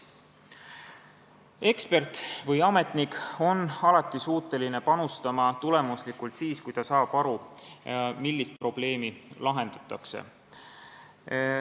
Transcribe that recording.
Ekspert või ametnik on suuteline tulemuslikult panustama siis, kui ta saab aru, millist probleemi lahendatakse.